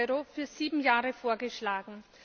EUR für sieben Jahre vorgeschlagen.